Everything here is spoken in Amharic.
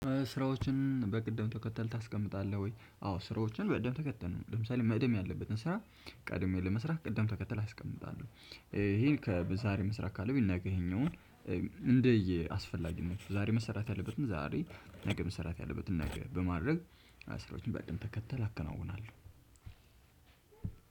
ስራዎችን በቅደም ተከተል ታስቀምጣለህ ወይ? አዎ ስራዎችን በቅድም ተከተል ለምሳሌ መቅደም ያለበትን ስራ ቀድሜ ለመስራት ቅድም ተከተል አስቀምጣለሁ። ይሄን ከ በዛሬ መስራት ካለብኝ ነገ ይሄኛውን እንደየ አስፈላጊነቱ ነው። ዛሬ መሰራት ያለበትን ዛሬ ነገ መሰራት ያለበትን ነገ በማድረግ ስራዎችን በቅደም ተከተል አከናውናለሁ።